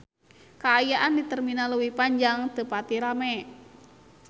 Kaayaan di Terminal Leuwi Panjang teu pati rame